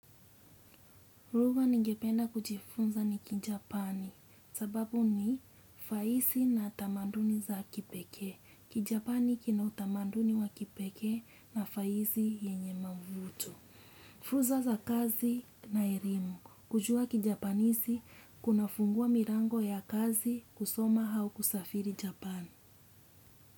Lugha ningependa kujifunza ni kijapani sababu ni fahisi na tamaduni za kipekee. Kijapani kina utamaduni wa kipekee na fahisi yenye mavuto. Fursa za kazi na elimu. Kujua kijapanisi kunafungua milango ya kazi kusoma au kusafiri japani.